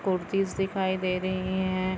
कुर्तीस दिखाई दे रही है।